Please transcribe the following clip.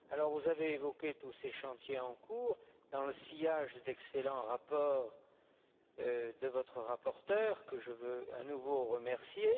Vous avez évoqué tous ces chantiers en cours, dans le sillage de l'excellent rapport de votre rapporteur, M. Obiols i Germà, que je veux à nouveau remercier.